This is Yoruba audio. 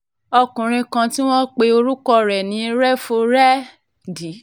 ọkùnrin kan tí wọ́n pe orúkọ ẹ̀ ní réfúrẹ́dì v